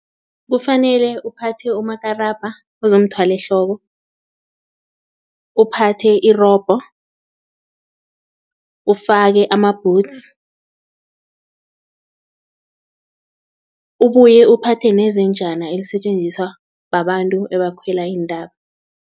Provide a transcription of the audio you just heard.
Kufanele uphathe umakarabha uzomthwalo ehloko, uphathe irobho, ufake ama-boots, ubuye uphathe nezenjani elisetjenziswa babantu ebakhwela iintaba.